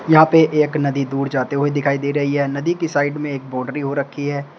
यहां पे एक नदी दूर जाते हुए दिखाई दे रही है नदी की साइड में एक बोड्री हो रखी है।